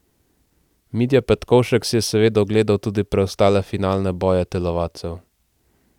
Mitja Petkovšek si je seveda ogledal tudi preostale finalne boje telovadcev.